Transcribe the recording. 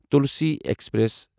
Tulsi express